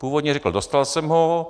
Původně řekl: dostal jsem ho.